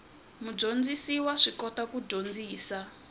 mudyondzisi wa swi kota ku dyondzisa